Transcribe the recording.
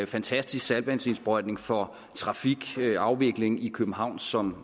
fantastisk saltvandsindsprøjtning for trafikafviklingen i københavn som